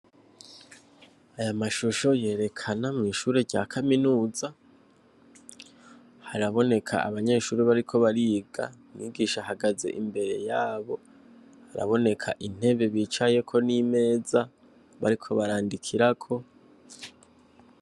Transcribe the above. Aya mashusho yerekana mw’ishure rya kaminuza haraboneka abanyeshure bariko bariga, umwigisha ahagaze imbere yabo haraboneka intebe bicayeko n’imeza bariko barandikirako.